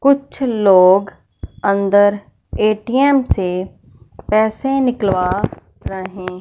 कुछ लोग अन्दर ए_टी_एम से पैसे निकलवा रहे--